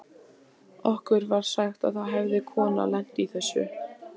Okkur var sagt að það hefði kona lent í þessu.